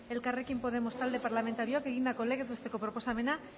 elkarrekin podemos talde parlamentarioak egindako legez besteko proposamena